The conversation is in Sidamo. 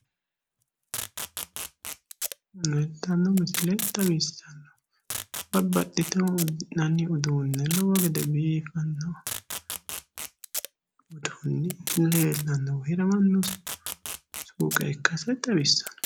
Leeltanno misile xawissannohu babbaxxitino uddi'nanni uduunne lowo gede biifanno uduunni leellannohu hiramanno suuqe ikkase xawissanno